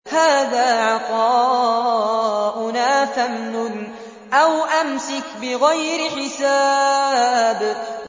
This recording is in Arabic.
هَٰذَا عَطَاؤُنَا فَامْنُنْ أَوْ أَمْسِكْ بِغَيْرِ حِسَابٍ